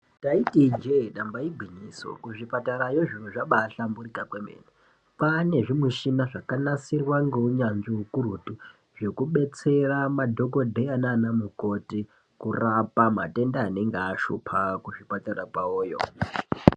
Taiti ijee damba igwinyiso ku zvipatarayo zviro zvabai hlamburika kwemene kwane zvi mishina zvaka nasirwa nge unyanzvi ukurutu zveku betsera madhokodheya nana mukoti kurapa matenda anenge ashupa ku zvipatara kwavoyo.